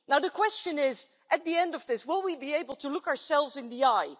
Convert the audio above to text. Now the question is, at the end of this will we be able to look ourselves in the eye?